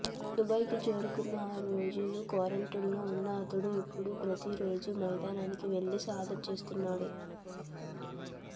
దుబాయ్కు చేరుకున్నాక ఆరు రోజులు క్వారంటైన్లో ఉన్న అతడు ఇప్పుడు ప్రతీ రోజూ మైదానానికి వెళ్లి సాధన చేస్తున్నాడు